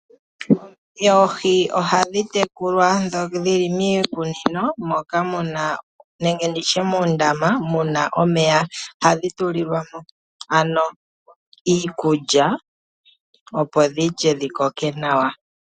Oohi ohadhi tekulwa miikunino nenge moondama moka hadhi tulilwamo iikulya opo dhilye dhi koke nawa.